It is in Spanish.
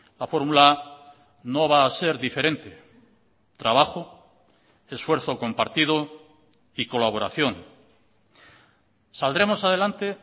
la fórmula no va a ser diferente trabajo esfuerzo compartido y colaboración saldremos adelante